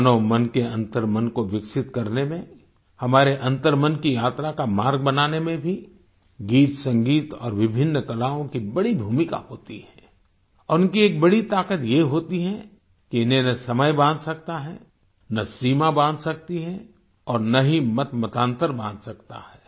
मानव मन के अंतर्मन को विकसित करने में हमारे अंतर्मन की यात्रा का मार्ग बनाने में भी गीतसंगीत और विभिन्न कलाओं की बड़ी भूमिका होती है और इनकी एक बड़ी ताकत ये होती है कि इन्हें न समय बांध सकता है न सीमा बांध सकती है और न ही मतमतांतर बांध सकता है